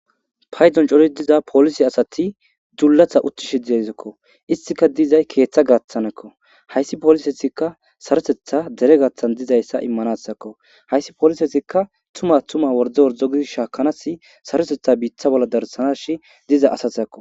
Paydon cori diza polisi asati dullatha uttishi dezikko istika dizay keeththa gaaththanekko hayssi polisesikka sarotetha dere gaaththan dizayssa immanasakko hayssi polisesikka tuma tuma worde wordo gidi shaakanasi sarotetha biitha bolla darsanashi diza asathakko.